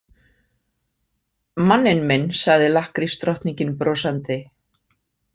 Manninn minn, sagði lakkrísdrottningin brosandi.